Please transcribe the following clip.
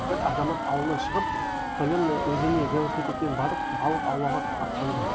бір азамат ауылынан шығып соленное өзеніне велосипедпен барып балық аулауға аттанды